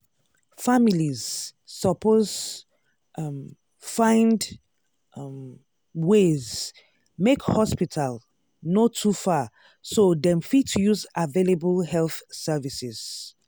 families suppose um find um ways make hospital no too far so dem fit use available health services.